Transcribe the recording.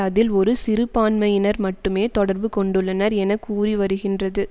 அதில் ஒரு சிறுபான்மையினர் மட்டுமே தொடர்பு கொண்டுள்ளனர் என கூறிவருகின்றது